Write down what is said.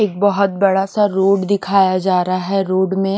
एक बहुत बड़ा सा रोड दिखाया जा रहा है रोड में --